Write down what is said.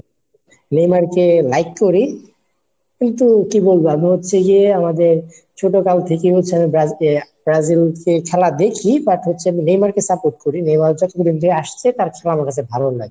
নেইমারকে like করি কিন্তু কি বলবো? আমি হচ্ছে গিয়ে আমাদের ছোট কাল থেকেই হচ্ছে আমি ব্রাজিল ব্রাজিলকে খেলা দেখি but হচ্ছে নেইমারকে support করি, নেইমার হচ্ছে যেদিন থেকে আসছে তার খেলা আমার কাছে ভালো লাগে.